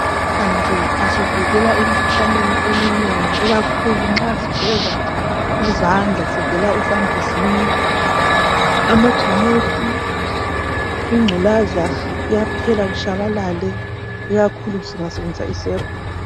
Amanzi asivikela emikhuhlaneni eminengi ikakhulu nxa sigeza izandla sivela esambuzini. Amajemusi ,ingculaza kuyaphela kutshabalele ikakhulu singasebenzisa isepa.